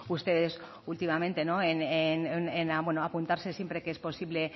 ustedes últimamente en apuntarse siempre que es posible